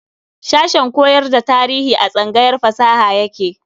Sashen koyar da tarihi a tsangayar fasaha yake.